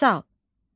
Misal.